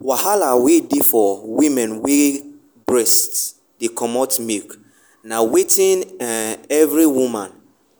wahala wen dey for women wen breast dey comot milk na wetin um every woman